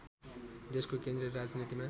देशको केन्द्रीय राजनीतिमा